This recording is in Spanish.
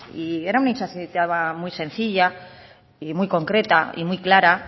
y era una muy sencilla y muy concreta y muy clara